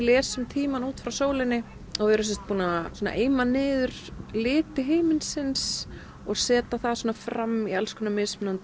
lesum tímann út frá sólinni við erum búin að eima niður liti himinsins og setja það fram í alls konar